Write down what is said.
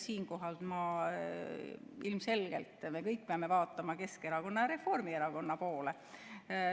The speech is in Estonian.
Siinkohal ilmselgelt me kõik peame vaatama Keskerakonna ja Reformierakonna poole.